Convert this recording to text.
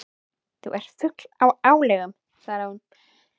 Þú ert fugl í álögum svaraði hún.